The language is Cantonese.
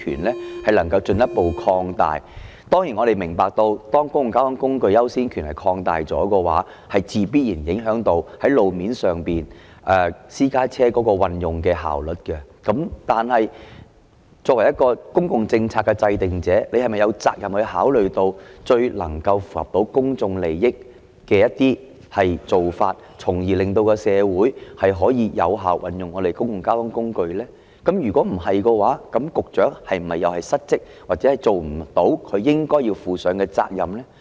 我們當然明白，擴大了公共交通工具的優先權的話，必然會影響到路面上運用私家車的效率。然而，作為公共政策的制訂者，局長有責任考慮最能夠符合公眾利益的一些做法，從而令社會可以有效運用公共交通工具，否則局長就是失職，履行不到他應有的責任。